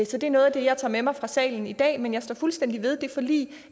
så det er noget af det jeg tager med mig fra salen i dag men jeg står fuldstændig ved det forlig